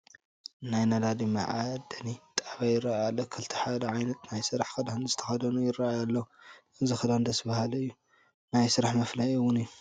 ናይ ነዳዲ መዓደሊ ጣብያ ይርአ ኣሎ፡፡ ክልተ ሓደ ዓይነት ናይ ስራሕ ክዳን ዝተኸደኑ ይርአዩ ኣለዉ፡፡ እዚ ክዳን ደስ በሃሊ እዩ፡፡ ናይ ስራሕ መፍለዪ እውን እዩ፡፡